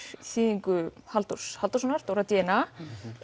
þýðingu Halldórs Halldórssonar Dóra d n a